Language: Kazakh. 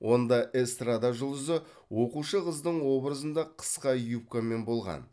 онда эстрада жұлдызы оқушы қыздың образында қысқа юбкамен болған